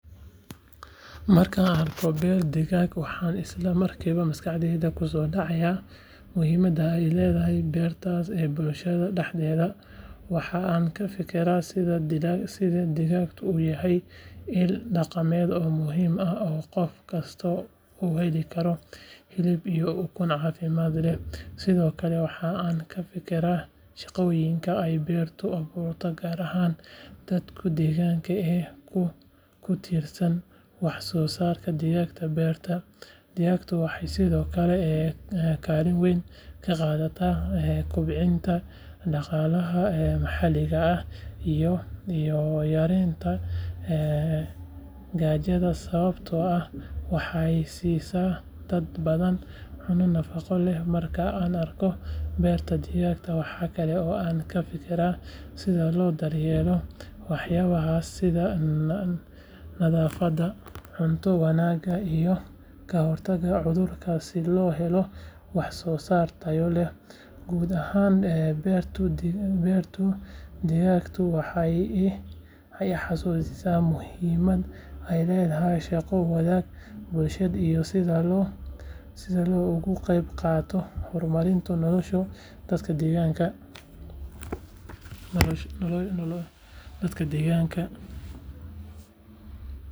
Markan arko beer digag waxan isla markiwa maskaxdadha kusodacaya muhiimaada ee ledahay beertas ee bulshaada daxdedha, waxaa an ka fikira digagtu u yahay il daqameed oo qof kasto u heli karo hilib iyo ukun cafimaad leh sithokale waxaa an ka fikira shaqoyinka ee beerta aburta gar ahan dadka deganka, sawabto ah waxee sisa hanun nafaqo leh, guud ahan beertu digaga waxee I xaausisa muhiimaada ee dadka deganka.